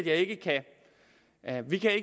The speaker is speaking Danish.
at vi